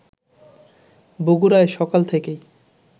বগুড়ায় সকাল থেকেই